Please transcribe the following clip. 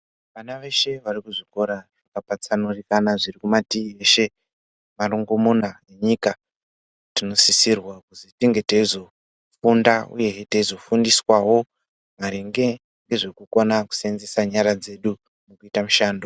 Vana veshe vari kuzvikora zvakapatsanurika zviri kumatii eshe marongomuna enyika tinosisirwa kuti tinge teizofunda uyehe teizofundiswawo maringe ngekukona kusenzesa nyara dzedu mukuita mushando.